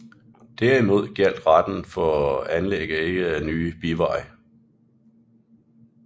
Derimod gjaldt retten ikke for anlæg af nye biveje